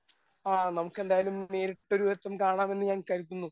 ആ നമുക്കെന്തായാലും നേരിട്ട് ഒരുവട്ടം കാണാമെന്ന് ഞാൻ കരുതുന്നു.